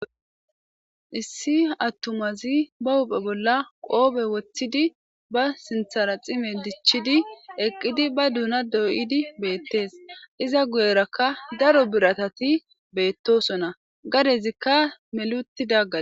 issi attumazi ba huphe bolla qoobe woththidi ba sinthara xime dichchidi eqqidi ba duuna dooyidi beettees iza guyerakka daro biratati beettosonna gadezikka meluti dagga